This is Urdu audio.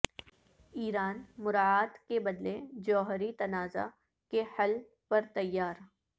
ایران مراعات کے بدلے جوہری تنازع کے حل پر تیار